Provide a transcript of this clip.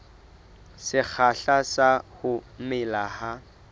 sekgahla sa ho mela ha